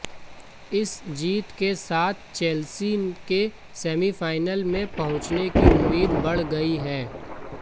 इस जीत के साथ चेल्सी के सेमीफाइनल में पहुंचने की उम्मीदें बढ़ गई हैं